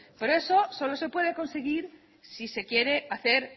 por eso solo se puede conseguir si se quiere hacer